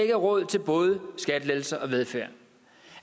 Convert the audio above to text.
er råd til både skattelettelser og velfærd